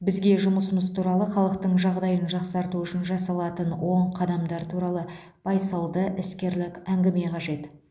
бізге жұмысымыз туралы халықтың жағдайын жақсарту үшін жасалатын оң қадамдар туралы байсалды іскерлік әңгіме қажет